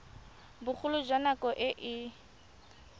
bogolo jwa nako e e